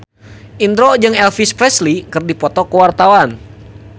Indro jeung Elvis Presley keur dipoto ku wartawan